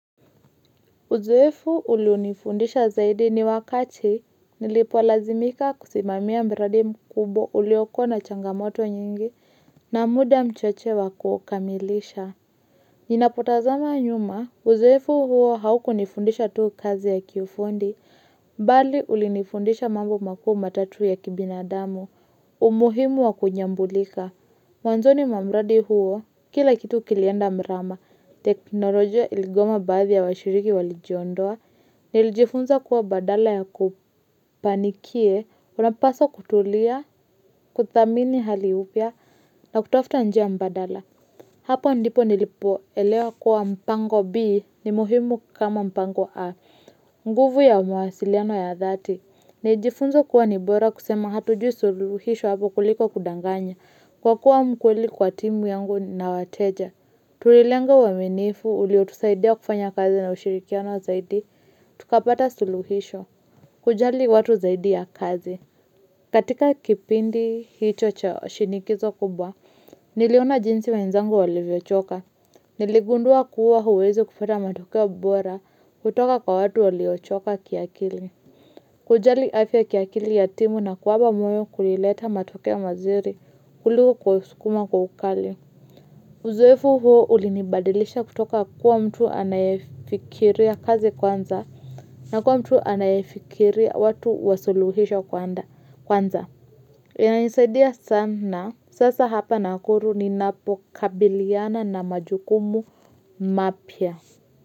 Uzeefu ulionifundisha zaidi ni wakati nilipolazimika kusimamia mradi mkubwa ulioko na changamoto nyingi na muda mchache wa kukamilisha. Ninapotazama nyuma uzoefu huo haukunifundisha tu kazi ya kifundi, bali ulinifundisha mambo makou matatu ya kibinadamu, umuhimu wa kunyambulika. Mwanzoni wa mradi huo, kila kitu kilienda mrama, teknolojia iligoma baadhi ya washiriki walijiondoa, nilijifunza kuwa badala ya kupanikie, unapaswa kutulia, kuthamini hali upya, na kutafta njia mbadala. Hapo ndipo nilipoelewa kuwa mpango B ni muhimu kama mpango A, nguvu ya mawasiliano ya dhati. Nijifunza kuwa ni bora kusema hatujui suluhisho hapo kuliko kudanganya kwa kuwa mkweli kwa timu yangu na wateja. Tulilenga uaminifu uliotusaidia kufanya kazi na ushirikiano zaidi, tukapata suluhisho, kujali watu zaidi ya kazi. Katika kipindi hicho cha shinikizo kubwa, niliona jinsi wenzangu walivyochoka. Niligundua kuwa huwezi kupata matokeo bora kutoka kwa watu waliochoka kiakili. Kujali afya kiakili ya timu na kuwapa moyo kulileta matokeo mazuri kuliko kuwasukuma kwa ukali. Uzoefu huo ulinibadilisha kutoka kuwa mtu anayefikiria kazi kwanza na kuwa mtu anayefikiria watu wa suluhisho kwanza. Kwanza, inanisaidia sana, sasa hapa nakuru ninapokabiliana na majukumu mapya.